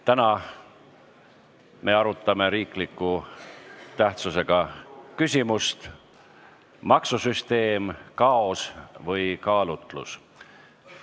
Täna me arutame riikliku tähtsusega küsimust "Maksusüsteem – kaos või kaalutlus".